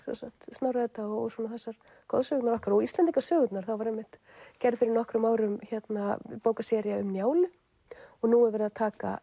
Snorra Edda og goðsögurnar okkar og Íslendingasögurnar það var einmitt gerð fyrir nokkrum árum bókasería um Njálu og nú er verið að taka